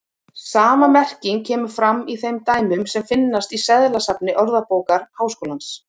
Sama merking kemur fram í þeim dæmum sem finnast í seðlasafni Orðabókar Háskólans.